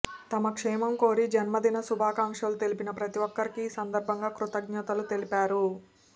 తన క్షేమం కోరి జన్మదిన శుభాకాంక్షలు తెలిపిన ప్రతి ఒక్కరికీ ఈ సందర్భంగా కృతజ్ఞతలు తెలిపారు